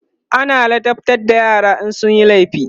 ana ladabtar da yara in sunyi laifi